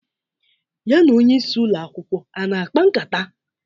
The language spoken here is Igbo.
Ya na onyeisi Ụlọ akwụkwọ a na-akpa nkata?